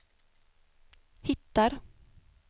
hittar